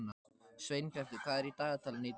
Sveinbjartur, hvað er í dagatalinu í dag?